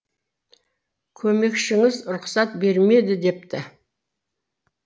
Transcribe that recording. көмекшіңіз рұқсат бермеді депті